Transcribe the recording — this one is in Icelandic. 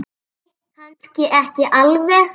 Nei, kannski ekki alveg.